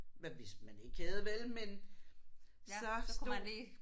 Men hvis man ikke havde vel men så stod